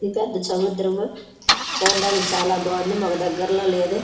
ఇది పెద్ద సముద్రము చూడ్డానికి చాలా బాగుంది మాకు దగ్గర్లో లేదు.